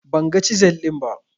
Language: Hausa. Ban ga cizel ɗin ba